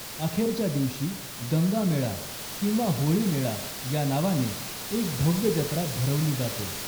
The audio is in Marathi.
अखेरच्या दिवशी 'गंगा मेळा' किंवा 'होळी मेळा' या नावाने एक भव्य जत्रा भरवली जाते.